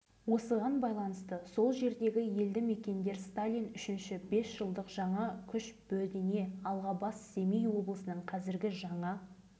жылы қыркүйектің министрлер кеңесінің қаулысы бойынша және қазақ министрлер кеңесінің келісімімен павлодар облысы ауданының шаршы шақырым жері